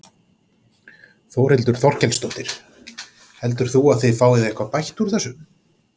Þórhildur Þorkelsdóttir: Heldur þú að þið fáið eitthvað bætt úr þessu?